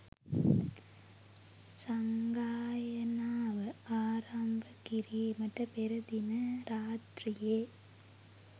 සංගායනාව ආරම්භ කිරීමට පෙර දින රාත්‍රියේ